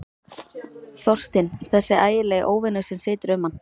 Þorstinn, þessi ægilegi óvinur sem situr um mann.